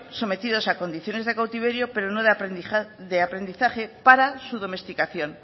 sometido a condiciones de cautiverio pero no de aprendizaje para su domesticación